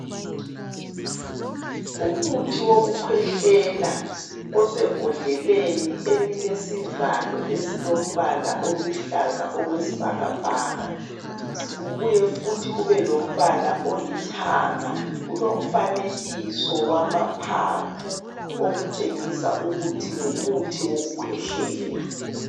Umuthi wokukwela osebhodleni elilesivalo esilombala oluhlalza okwesibhakabhaka, kubuye futhi kube lombala olithanga. Kulomfanekiso wamaphaphu, okutshingisa ukuthi ngumuthi wokukwehlela.